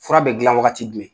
Fura bɛ gilan wagati jumɛn?